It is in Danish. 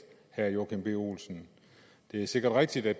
herre joachim b olsen det er sikkert rigtigt at